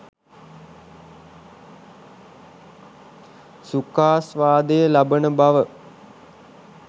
සුඛාස්වාදය ලබන බව